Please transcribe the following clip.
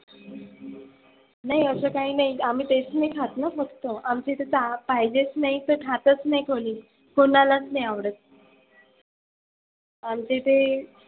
नाही असं काही नाही आम्ही तेच नाही खात ना फक्त. आमच्या इथे पाहिजेच नाही तर खातच नाही कोणी. कुणालाच नाही आवडत. आमचे ते.